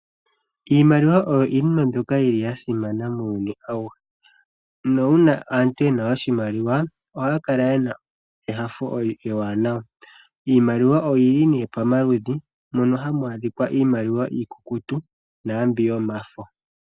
Iimaliwa oyo iinima mbyoka yili yasimana muuyuni awuhe. Nuuna aantu yena oshimaliwa, ohaya kala yena enyanyu ewanawa. Iimaliwa oyili nee pamaludhi, mono hamu adhika iimaliwa iikukutu, naambyoka yomafo.